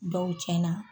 Dɔw tiɲɛna